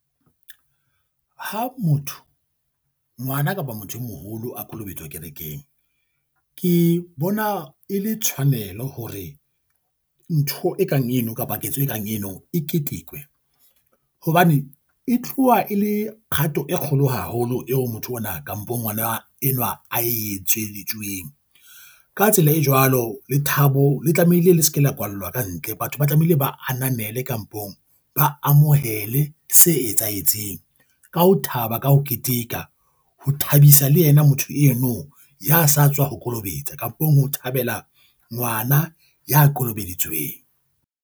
Ha motho ngwana kapa motho e moholo a kolobetswa kerekeng, ke bona e le tshwanelo hore ntho ekang eno kapa ketso e kang eno e ketekwe. Hobane e tloha e le kgato e kgolo haholo eo motho ona kampong ngwana enwa a etseditsweng. Ka tsela e jwalo lethabo le tlamehile le se ke la kwallwa ka ntle. Batho ba tlamehile ba ananele kampong ba amohele se etsahetseng ka ho thaba ka ho keteka. Ho thabisa le yena motho eno ya sa tswa ho kolobetswa kampong ho thabela ngwana ya kolobeditsweng.